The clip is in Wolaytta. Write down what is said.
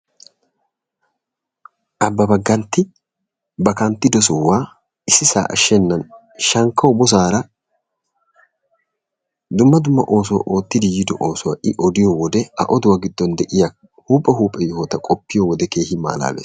Abbaabba Gantti ba kanttido sohuwa issisaa ashshennan shankkawu bosaara dumma dumma oosuwa oottidi yiido oosuwa I odiyo wode A oduwa giddon de'iya huuphe huuphe yohota qoppiyo wode keehi malaalees.